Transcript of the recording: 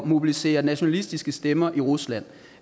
mobilisere nationalistiske stemmer i rusland